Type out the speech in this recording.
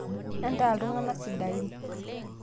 entaa iltung'anak sidain